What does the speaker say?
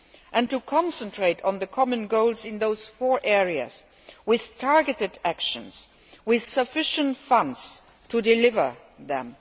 and to concentrate on the common goals in those four areas with targeted actions and sufficient funds to deliver them.